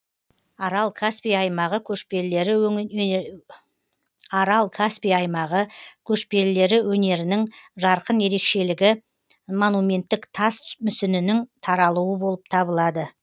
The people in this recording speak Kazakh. арал каспий аймағы көшпелілері өнерінің жарқын ерекшелігі монументтіктас мүсінінің таралуы болып табылады